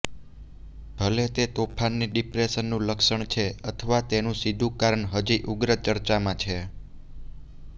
ભલે તે તોફાનની ડિપ્રેશનનું લક્ષણ છે અથવા તેનું સીધું કારણ હજી ઉગ્ર ચર્ચામાં છે